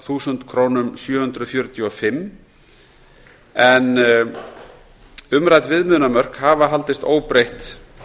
þúsund sjö hundruð fjörutíu og fimm krónur umrædd viðmiðunarmörk hafa haldist óbreytt